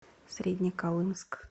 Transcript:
среднеколымск